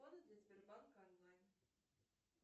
сбербанка онлайн